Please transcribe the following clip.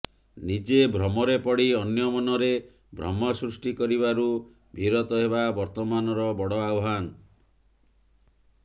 ନିଜେ ଭ୍ରମରେ ପଡ଼ି ଅନ୍ୟ ମନରେ ଭ୍ରମ ସୃଷ୍ଟି କରିବାରୁ ବିରତ ହେବା ବର୍ତ୍ତମାନର ବଡ଼ ଆହ୍ବାନ